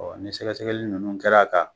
ni sɛgɛsɛgɛli ninnu kɛr'a kan